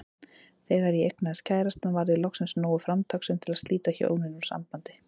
Þegar ég eignaðist kærastann varð ég loksins nógu framtakssöm til að slíta hjónin úr sambandi.